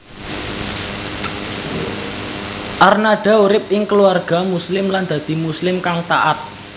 Arnada urip ing keluarga Muslim lan dadi Muslim kang taat